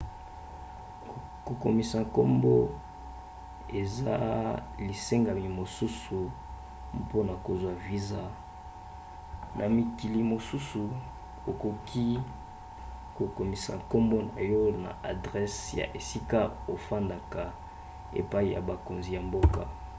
kokomisa nkombo eza lisengami mosusu mpona kozwa viza. na mikili mosusu okoki kokomisa nkombo na yo na adrese ya esika okofanda epai ya bakonzi ya mboka